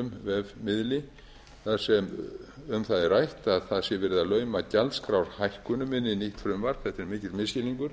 vega einum vefmiðli þar sem um það er rætt að það sé verið að lauma gjaldskrárhækkunum inn í nýtt frumvarp þetta er mikill misskilningur